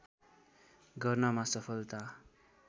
गर्नमा सफलता